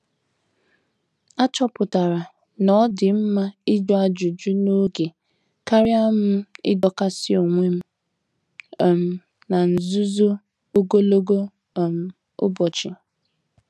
A chọpụtara na-odi mma ịjụ ajụjụ n'oge karịa m idokasi onwem um n'nzuzo ogologo um ụbọchị.